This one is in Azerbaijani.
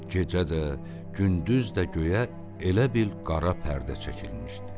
Gecə də, gündüz də göyə elə bil qara pərdə çəkilmişdi.